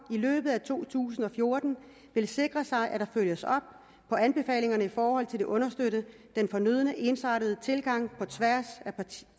i løbet af to tusind og fjorten vil sikre sig at der følges op på anbefalingerne i forhold til at understøtte den fornødne ensartede tilgang på tværs